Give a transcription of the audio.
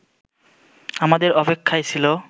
আমাদের অপেক্ষায় ছিল